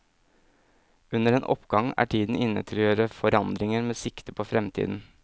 Under en oppgang er tiden inne til å gjøre forandringer med sikte på fremtiden.